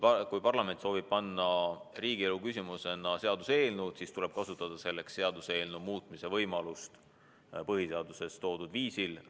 Kui parlament soovib panna rahvahääletusele seaduseelnõu, siis tuleb tal selleks kasutada seaduseelnõu muutmise võimalust põhiseaduses kirjeldatud viisil.